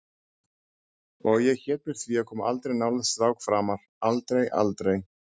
Og hét mér því að koma aldrei nálægt strák framar, aldrei, aldrei.